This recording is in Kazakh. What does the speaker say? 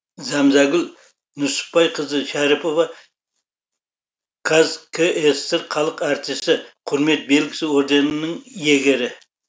зәмзәгүл нүсіпбайқызы шәріпова қазкср халық әртісі құрмет белгісі орденінің иегері